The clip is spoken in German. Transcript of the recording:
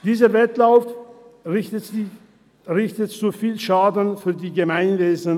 Dieser Wettlauf richtet zu viel Schaden an für das Gemeinwesen.